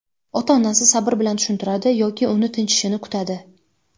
ota-onasi sabr bilan tushuntiradi yoki uni tinchishini kutadi.